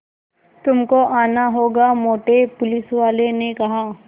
तुमको आना होगा मोटे पुलिसवाले ने कहा